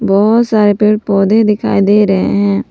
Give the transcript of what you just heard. बहुत सारे पेड़ पौधे दिखाई दे रहे हैं।